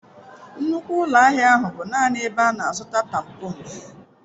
Nnukwu ụlọ ahịa ahụ bụ naanị ebe a na-azụta tampons.